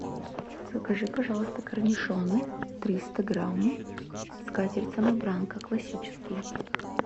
закажи пожалуйста корнишоны триста грамм скатерть самобранка классические